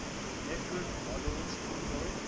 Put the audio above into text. network models employed